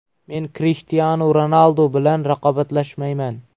Men Krishtianu Ronaldu bilan raqobatlashmayman.